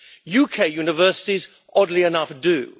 UK universities, oddly enough, do.